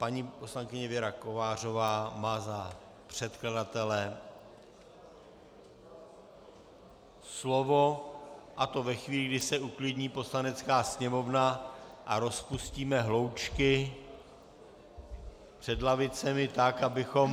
Paní poslankyně Věra Kovářová má za předkladatele slovo, a to ve chvíli, kdy se uklidní Poslanecká sněmovna a rozpustíme hloučky před lavicemi tak, abychom...